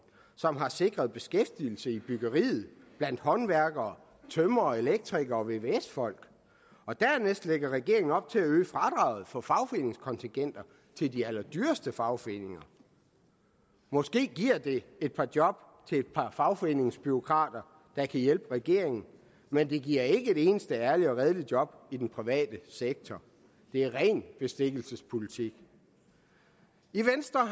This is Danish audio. som har sikret beskæftigelse i byggeriet blandt håndværkere tømrere elektrikere og vvs folk og dernæst lægger regeringen op til at øge fradraget for fagforeningskontingenter til de allerdyreste fagforeninger måske giver det et par job til et par fagforeningsbureaukrater der kan hjælpe regeringen men det giver ikke et eneste ærligt og redeligt job i den private sektor det er ren bestikkelsespolitik i venstre